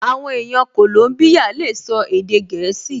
Àwọn èèyàn kòlóbíyà lè sọ èdè gẹ̀ẹ́sì